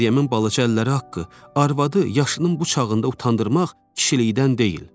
Məryəmin balaca əlləri haqqı, arvadı yaşının bu çağında utandırmaq kişlikdən deyil.”